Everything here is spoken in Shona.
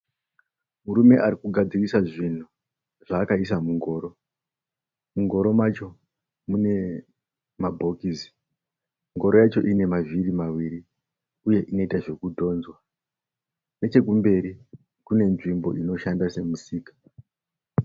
Murume ari kugadzirisa zvinhu zvaakaisa mungoro. Mungoro macho mune mabhokisi. Ngoro yacho ine mavhiri maviriuye inoita zvekudhonzwa. Nechekumberi kune nzvimbo inoshanda semusika.